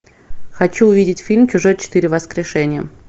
хочу увидеть фильм чужой четыре воскрешение